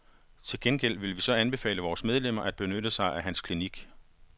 Til gengæld vil vi så anbefale vores medlemmer at benytte sig af hans klinik.